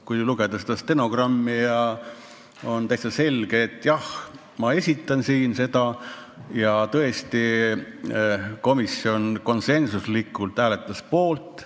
Kui lugeda stenogrammi, on tema mõte täitsa selge: jah, ma esitlen siin seda eelnõu ja tõesti, komisjon konsensusega hääletas poolt.